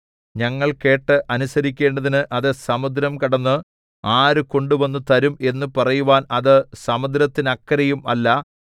ഞങ്ങൾ കേട്ട് അനുസരിക്കേണ്ടതിന് അത് സമുദ്രം കടന്ന് ആര് കൊണ്ടുവന്നു തരും എന്നു പറയുവാൻ അത് സമുദ്രത്തിനക്കരെയും അല്ല